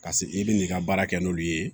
Ka se i bɛ n'i ka baara kɛ n'olu ye